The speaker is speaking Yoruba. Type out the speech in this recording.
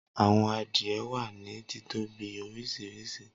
Awọn adie wa ni titobi oriṣiriṣi.